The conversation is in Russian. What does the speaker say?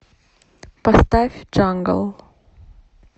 поставь джангл